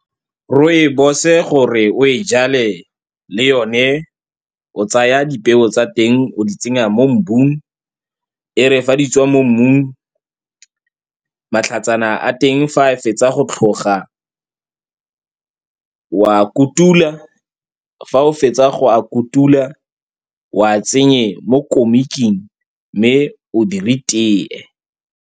Rooibos-e, gore o e jale, le yone o tsaya dipeo tsa teng, o di tsenya mo mmung. E re fa di tswa mo mmung, matlhatsana a teng, fa a fetsa go tlhoga, wa a kutula. Fa o fetsa go a kutula, wa tsenya mo komiking, mme o dire tea.